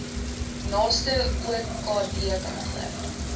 naaste okd kantoor